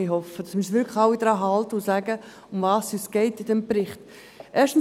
Ich hoffe, dass wir uns wirklich alle daran halten und sagen, um was es in diesem Bericht geht.